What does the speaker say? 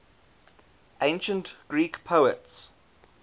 ancient greek poets